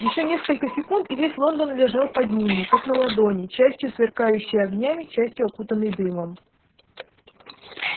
ещё несколько секунд и весь лондон лежал под ними как на ладони частью сверкающий огнями частью окутанный дымом